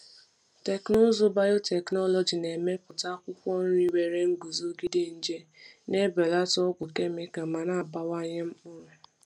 Teknụzụ biotechnology na-emepụta akwụkwọ nri nwere nguzogide nje, na-ebelata ọgwụ kemikal ma na-abawanye mkpụrụ.